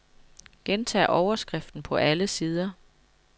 Gentag overskriften på alle sider.